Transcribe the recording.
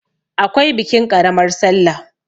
akwai bikin ƙaramar sallah